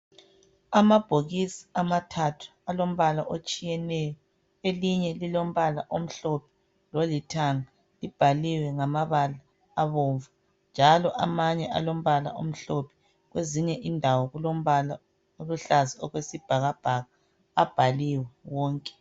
Amabhokisi amathathu alombala otshiyeneyo. Elinye lilombala omhlophe lolithanga. Libhaliwe ngamabala abomvu njalo amanye alombala omhlophe. Kwezinye indawo kulombala oluhlaza okwesibhakabhaka. Abhaliwe wonke.